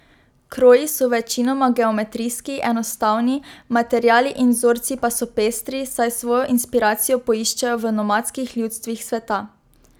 Kroji so večinoma geometrijski, enostavni, materiali in vzorci pa so pestri, saj svojo inspiracijo poiščejo v nomadskih ljudstvih sveta.